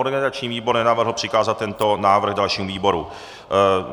Organizační výbor nenavrhl přikázat tento návrh dalšímu výboru.